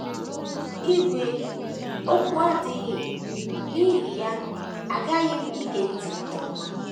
Ígwè okwu adịghị,, n’ihi ya aghaghị m ige ntị nke ọma.